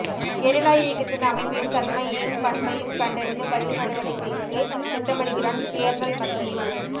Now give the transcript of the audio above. guerrilla இயக்கத்தின் அமைப்பையும் தன்மையையும் பண்பையும் கண்டறிந்து பதில் நடவடிக்கைக்கு திட்டமிடுகிறான் கேர்ணல் மத்தியூ